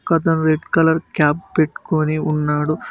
ఒకతను red colour cap పెట్టుకొని ఉన్నాడు.